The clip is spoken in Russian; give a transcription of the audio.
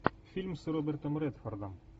фильм с робертом редфордом